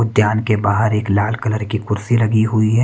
उद्यान के बाहर एक लाल कलर की कुर्सी लगी हुई है।